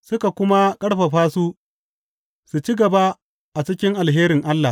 suka kuma ƙarfafa su su ci gaba a cikin alherin Allah.